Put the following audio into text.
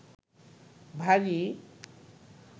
ভারী